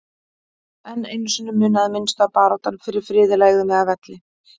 En einu sinni munaði minnstu að baráttan fyrir friði legði mig að velli.